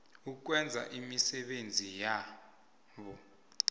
ukwenza imisebenzi yabo